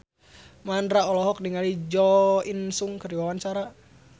Mandra olohok ningali Jo In Sung keur diwawancara